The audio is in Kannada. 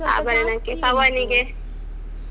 ಆಭರಣಕ್ಕೆ ಪವನಿಗೆ.